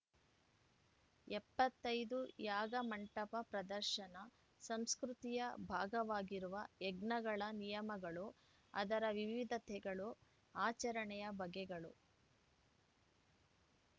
ಎಪ್ಪತ್ತೈದು ಯಾಗ ಮಂಟಪ ಪ್ರದರ್ಶನ ಸಂಸ್ಕೃತಿಯ ಭಾಗವಾಗಿರುವ ಯಜ್ಞಗಳ ನಿಯಮಗಳು ಅದರ ವಿವಿಧತೆಗಳು ಆಚರಣೆಯ ಬಗೆಗಳು